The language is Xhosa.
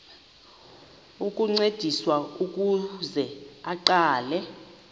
ukuncediswa ukuze aqale